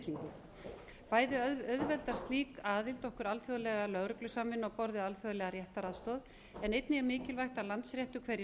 gegn spillingu bæði auðveldar slík okkur alþjóðlega lögreglusamvinnu á borð við alþjóðlega réttaraðstoð en einnig er mikilvægt að landsréttur hverju sinni